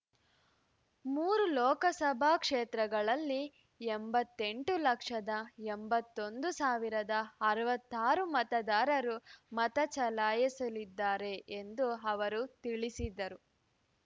ಮೂರು ಲೋಕಸಭಾ ಕ್ಷೇತ್ರಗಳಲ್ಲಿ ಎಂಬತ್ತೆಂಟು ಲಕ್ಷದ ಎಂಬತ್ತೊಂದು ಸಾವಿರದ ಅರವತ್ತಾರು ಮತದಾರರು ಮತ ಚಲಾಯಿಸಲಿದ್ದಾರೆ ಎಂದು ಅವರು ತಿಳಿಸಿದರು